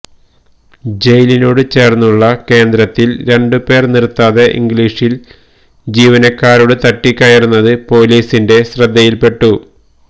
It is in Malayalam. ജയിലിനോടു ചേർന്നുള്ള കേന്ദ്രത്തിൽ രണ്ടുപേർ നിർത്താതെ ഇംഗ്ലീഷിൽ ജീവനക്കാരോടു തട്ടിക്കയറുന്നത് പൊലീസിന്റെ ശ്രദ്ധയിൽപ്പെട്ടു